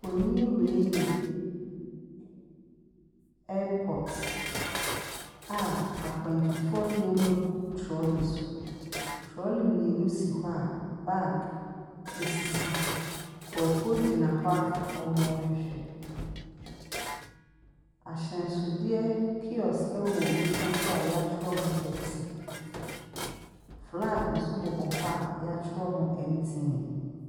Mfonin wei yɛ airport a akwantufoɔ nneɛma gu trolley so. Trolley mmienu si hɔ a bag sisi mu. Nkurɔfoɔ gyina hɔ a wɔrehwehwɛ. Ahyɛnsodeɛ kiosk wɔ wɔn nifa so a wɔatwerɛ ho pepsi. Flag nso bobɔ hɔ a wɔatwerɛ ho MTN.